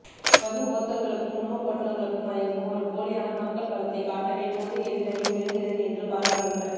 மது போத்தல்களுக்கும் உணவப் பொட்டலங்களுக்கும் மயங்கும் ஒரு போலியான மக்கள் பலத்தைக் காட்டவே பொது எதிரணி முயலுகின்றது என்று பாராளுமன்ற